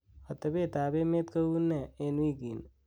otebet ab emet koune en wigini